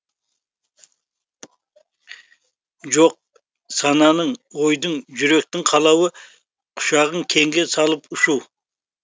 жоқ сананың ойдың жүректің қалауы құшағын кеңге салып ұшу